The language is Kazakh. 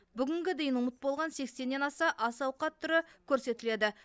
бүгінге дейін ұмыт болған сексеннен аса ас ауқат түрі көрсетіледі